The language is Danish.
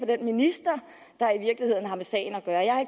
den minister der i virkeligheden har med sagen at gøre jeg